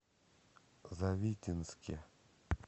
завитинске